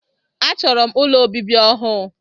A chọrọ m ụlọ obibi ọhụụ.